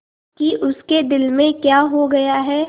कि उसके दिल में क्या हो गया है